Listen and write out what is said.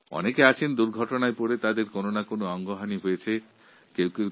কিছু মানুষ দুর্ঘটনাবশতঃ অঙ্গহানির শিকার হন